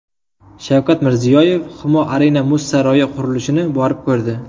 Shavkat Mirziyoyev Humo Arena muz saroyi qurilishini borib ko‘rdi.